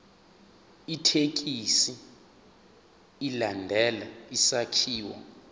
ithekisthi ilandele isakhiwo